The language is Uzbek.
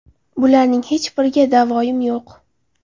Bularning hech biriga davoyim yo‘q.